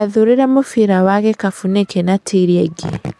Wathurire mũbira wa gĩkabũ nĩkĩ na ti ĩrĩa ĩngĩ?